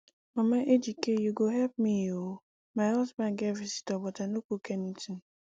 mama ejike you go help me oo my husband get visitor but i no cook anything